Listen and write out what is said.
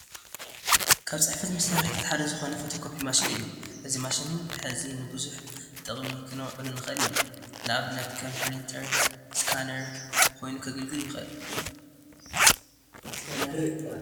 ካብ ሕፅፈት መሳርሕታት ሓደ ዝኾነ ፎቶ ኮፒ ማሽን እዩ፡፡ እዚ ማሽን እዚ ንብዙሕ ጥቕሚ ክነውዕሎ ንኽእል ኢና፡፡ ንኣብነት ከም ኘሪንተን ስካነርን ኮይኑ ከገልግል ይኽእል፡፡